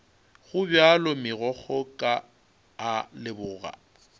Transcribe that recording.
gobjalo megokgo ka a leboga